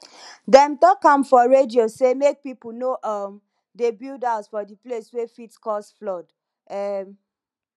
dem talk am for radio say make pipo no um dey build house for di place wey fit cause flood um